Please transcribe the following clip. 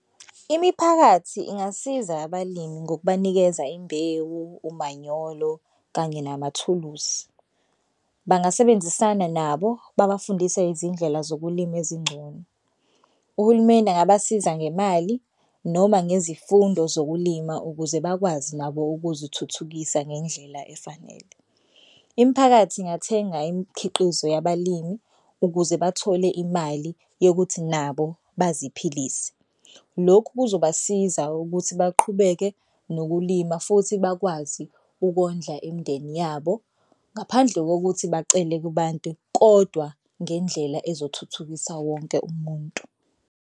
Imiphakathi ingasiza abalimi ngokubanikeza imbewu, umanyolo kanye namathuluzi. Bangasebenzisana nabo babafundise izindlela zokulima ezingcono. Uhulumeni angabasiza ngemali noma ngezifundo zokulima ukuze bakwazi nabo ukuzithuthukisa ngendlela efanele. Imiphakathi ingathenga imikhiqizo yabalimi ukuze bathole imali yokuthi nabo baziphilise. Lokhu kuzobasiza ukuthi baqhubeke nokulima futhi bakwazi ukondla imindeni yabo ngaphandle kokuthi bacele kubantu kodwa ngendlela ezothuthukisa wonke umuntu.